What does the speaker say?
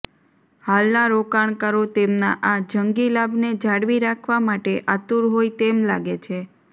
હાલના રોકાણકારો તેમના આ જંગી લાભને જાળવી રાખવા માટે આતુર હોય તેમ લાગે છે